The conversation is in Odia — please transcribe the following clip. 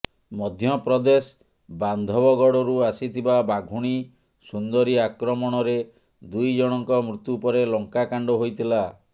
ମଧ୍ୟପ୍ରଦେଶ ବାନ୍ଧବଗଡ଼ରୁ ଆସିଥିବା ବାଘୁଣୀ ସୁନ୍ଦରୀ ଆକ୍ରମଣରେ ଦୁଇ ଜଣଙ୍କ ମୃତ୍ୟୁ ପରେ ଲଙ୍କାକାଣ୍ଡ ହୋଇଥିଲା